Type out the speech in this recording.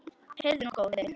Heyrðu nú, góði!